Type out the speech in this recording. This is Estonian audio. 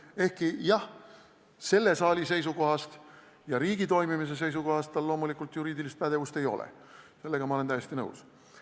Ehkki jah, selle saali seisukohast ja riigi toimimise seisukohast tal loomulikult juriidilist pädevust ei ole, sellega olen ma täiesti nõus.